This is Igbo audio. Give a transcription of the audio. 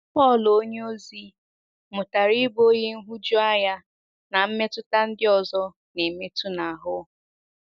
Pọl onyeozi mụtara ịbụ onye nhụjuanya na mmetụta ndị ọzọ na - emetụ n’ahụ́.